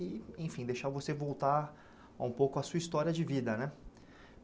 E enfim, deixar você voltar um pouco a sua história de vida né.